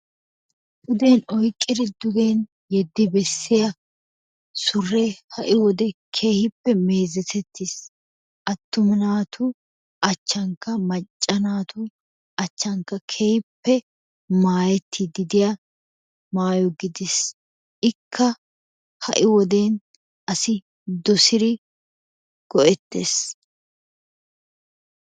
Puden oyqqidi dugen yeddiya suree ha"i wode keehi meezetettiis. Attuma naatu achchankka macca naatu achchankka keehippe maayettiiddi diya maayo gidiis. Ikka ha"i woden asi dosiri go'ettees.